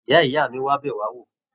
Ìyá-ìyá mí wá bẹ wà wò.